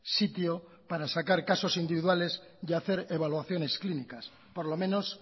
sitio para sacar casos individuales y hacer evaluaciones clínicas por lo menos